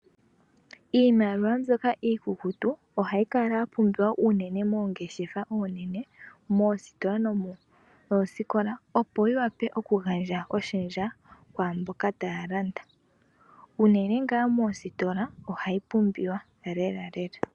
Iimaliwa mbyoka iikukutu ohayi kala yapumbiwa unene moongeshefa ndhoka oonene moositola nomoosikolabopo yiwape okugandja oshendja kwaamboka taya landa. Unene ngaa moositola ohayi pumbiwa lela lela.